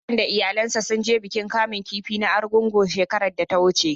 Hassan da iyalansa sun je bikin kamun kifi na Argungu shekarar da ta wuce.